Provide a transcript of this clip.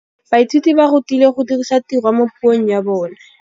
Baithuti ba rutilwe go dirisa tirwa mo puong ya bone.